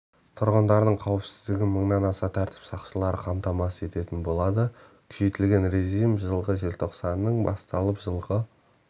тұрғындардың қауіпсіздігін мыңнан аса тәртіп сақшысы қамтамасыз ететін болады күшейтілген режим жылғы желтоқсанның басталып жылғы